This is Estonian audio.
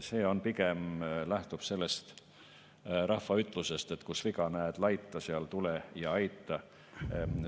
See pigem lähtub sellest rahva ütlusest, et kus viga näed laita, seal tule ja aita.